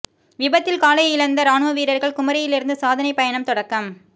விபத்தில் காலை இழந்த ராணுவ வீரா்கள் குமரியிலிருந்து சாதனை பயணம் தொடக்கம்